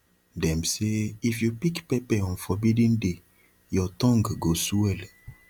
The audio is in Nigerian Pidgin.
them say if you pick pepper on forbidden day your tongue go swell